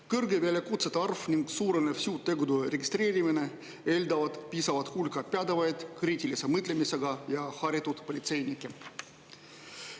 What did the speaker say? Kõrge väljakutsete arv ning suurenev süütegude registreerimine eeldavad piisavat hulka pädevaid, kriitilise mõtlemisega ja haritud politseinikke.